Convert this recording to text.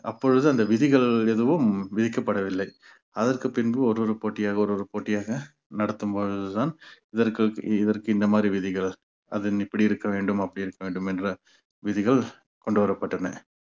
அப்பொழுது அந்த விதிகள் எதுவும் விதிக்கப்படவில்லை அதற்கு பின்பு ஒரு ஒரு போட்டியாக ஒரு ஒரு போட்டியாக நடத்தும் பொழுதுதான் இதற்கு இதற்கு இந்த மாதிரி விதிகள் அது இப்படி இருக்க வேண்டும் அப்படி இருக்க வேண்டும் என்ற விதிகள் கொண்டு வரப்பட்டன